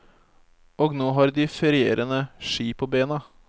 Og nå har de ferierende ski på bena.